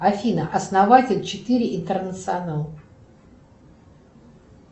афина основатель четыре интернационал